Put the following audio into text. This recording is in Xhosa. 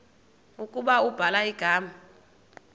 ukuba ubhala igama